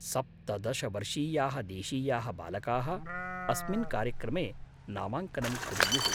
सप्तदश वर्षीयाः देशीयाः बालकाः अस्मिन् कार्यक्रमे नामाङ्कनं कुर्युः।